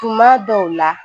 Tuma dɔw la